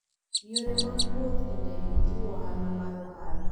Yore mag wuoth e ndege jiwo ohala mar ohala.